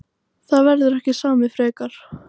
Það verður ekki samið frekar